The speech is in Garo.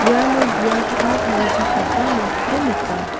iano bia ka·na tarichakgipa nokko nika.